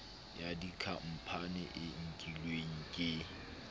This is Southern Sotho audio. ya dikhampani e nkilweng ke